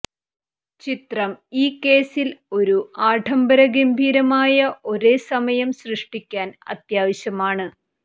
ചിത്രം ഈ കേസിൽ ഒരു ആഢംബര ഗംഭീരവുമായ ഒരേ സമയം സൃഷ്ടിക്കാൻ അത്യാവശ്യമാണ്